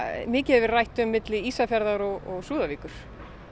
mikið hefur verið rætt um á milli Ísafjarðar og Súðavíkur